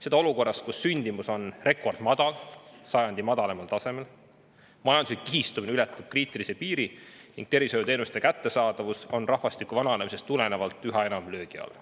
Seda olukorras, kus sündimus on rekordmadal, see on sajandi madalaimal tasemel, ja majanduslik kihistumine ületab kriitilise piiri ning tervishoiuteenuste kättesaadavus on rahvastiku vananemise tõttu üha enam löögi all.